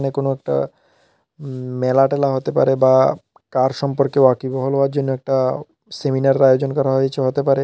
এ কোন একটা মেলা টেলা হতে পারে বা কার সম্পর্কে ওয়াকিবহল হওয়ার জন্য একটা সেমিনারের আয়োজন করা হয়েছে হতে পারে।